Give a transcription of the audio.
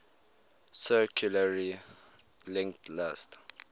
circularly linked list